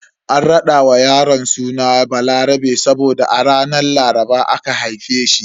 An rada wa yaron suna Balarabe saboda a ranar Laraba aka haife shi.